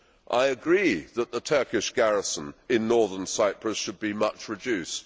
I agree that the Turkish garrison in Northern Cyprus should be much reduced.